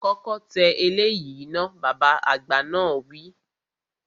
Kọ́kọ́ tẹ eléyìí náà, Bàbá àgbà náà wi